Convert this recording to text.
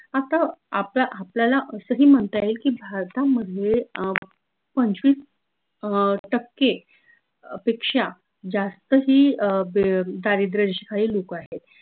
आता आप आपल्याला असही म्हनता येईल की भारतामधले अं पंचवीस अं टक्के अह पेक्षा जास्त ही अह बे दारिद्र्य रेषेखालील लोक आहेत